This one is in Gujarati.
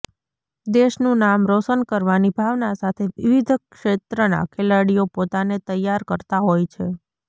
દેશનુ નામ રોશન કરવાની ભાવના સાથે વિવિધ ક્ષેત્રના ખેલાડીઓ પોતાને તૈયાર કરતા હોય છે